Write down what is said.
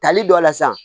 Tali dɔ la san